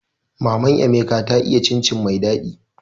Maman emeka ta iya cin cin mai daɗi